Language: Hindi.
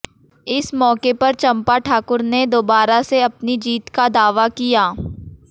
इस मौके पर चंपा ठाकुर ने दोबारा से अपनी जीत का दावा किया